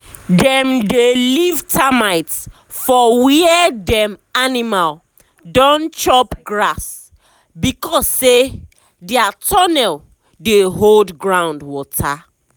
dem dey leave termite for where dem animal don chop grass because say dia tunnel dey hold ground water.